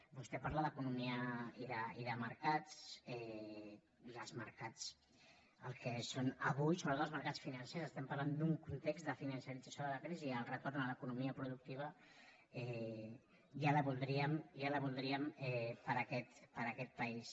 vostè parla d’economia i de mercats i els mercats el que són avui sobretot els mercats financers estem parlant d’un context de financialització de la crisi el retorn a l’economia productiva ja la voldríem ja la voldríem per a aquest país